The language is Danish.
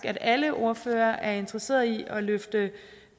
at alle ordførere er interesseret i at løfte